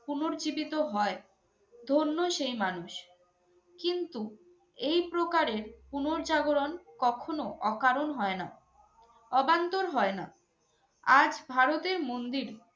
পুনর্জীবিত হয় ধন্য সেই মানুষ। কিন্তু এই প্রকারের পুনঃজাগরণ কখনো অকারণ হয় না, অবান্তর হয় না। আজ ভারতের মন্দির